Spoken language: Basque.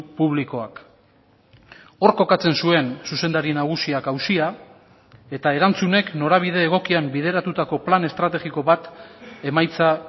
publikoak hor kokatzen zuen zuzendari nagusiak auzia eta erantzunek norabide egokian bideratutako plan estrategiko bat emaitza